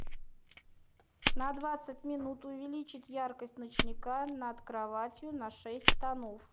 на двадцать минут увеличить яркость ночника над кроватью на шесть тонов